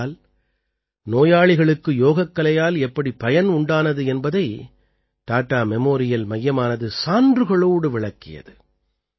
ஏனென்றால் நோயாளிகளுக்கு யோகக்கலையால் எப்படி பயன் உண்டானது என்பதை டாடா மெமோரியல் மையமானது சான்றுகளோடு விளக்கியது